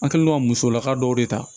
An kɛlen don ka musolakaw dɔw de ta